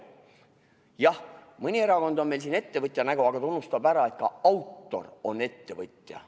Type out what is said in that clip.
Jah, mõni erakond on meil siin ettevõtja nägu, aga ta unustab ära, et ka autor on ettevõtja.